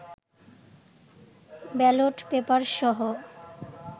ballot পেপারসহ